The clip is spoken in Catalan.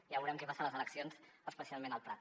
ja veurem què passa a les eleccions especialment al prat